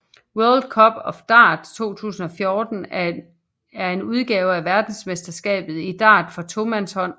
World Cup of Darts 2014 er en udgave af verdensmesterskabet i Dart for tomandshold